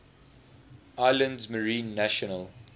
islands marine national